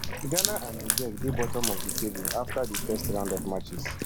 ghana and niger dey bottom of di table afta di first round of matches